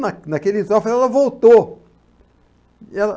Na naquele instante, ela voltou. E ela